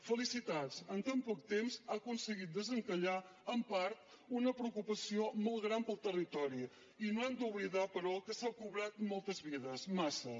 felicitats en tan poc temps ha aconseguit desencallar en part una preocupació molt gran per al territori i no hem d’oblidar però que s’ha cobrat moltes vides massa